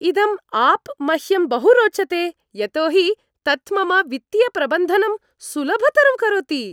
इदम् आप् मह्यं बहु रोचते, यतो हि तत् मम वित्तीयप्रबन्धनं सुलभतरं करोति।